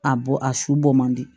A bɔ a su bɔ man di